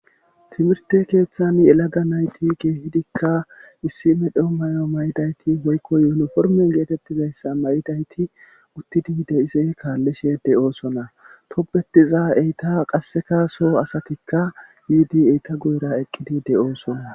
timirte keeththan yelaga nayti keehidikka issi me dheo may7o may7idayti hoykko yonoformeon geetettizayssa mayidayti uttidi deyise kaallishe de7oosona topbettiza eyta qasseka soo asatikka yiidi eyta guyra eqqidi de7oosona